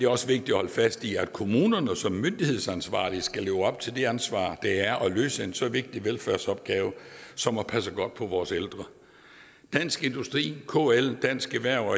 også vigtigt at holde fast i at kommunerne som myndighedsansvarlig skal leve op til det ansvar det er at løse en så vigtig velfærdsopgave som at passe godt på vores ældre dansk industri kl dansk erhverv